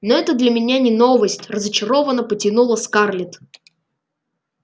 ну это для меня не новость разочарованно потянула скарлетт